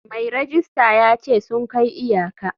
Mai rejista ya ce sun kai iyaka.